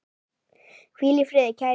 Hvíl í friði, kæri vinur.